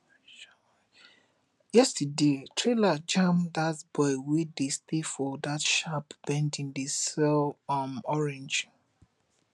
yesterday trailer jam dat boy wey dey stay for that sharp bending dey sell um orange